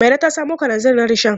Mairo ta samo kalanzir na rishon.